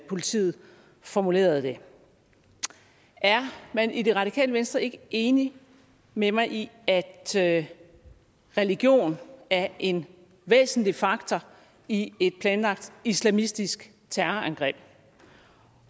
politiet formulerede det er man i det radikale venstre ikke enig med mig i at at religion er en væsentlig faktor i et planlagt islamistisk terrorangreb